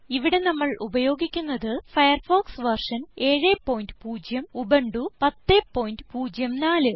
ഇവിടെ നമ്മൾ ഉപയോഗിക്കുന്നത് ഫയർഫോക്സ് വെർഷൻ 70 ഉബുന്റു 1004